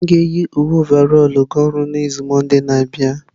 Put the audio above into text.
M ga-eyi uwe ọvarọlụ ga ọrụ n'izu mọnde na-abịa